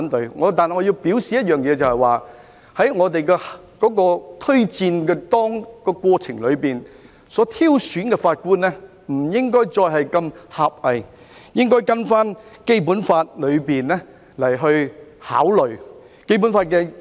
不過，我要表示一點，就是在推薦的過程中，挑選法官不應再如此狹隘，應該按照《基本法》考慮。